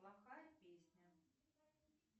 плохая песня